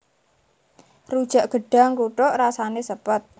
Rujak gedhang kluthuk rasané sepet